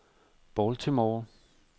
Baltimore